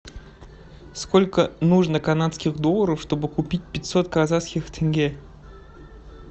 сколько нужно канадских долларов чтобы купить пятьсот казахских тенге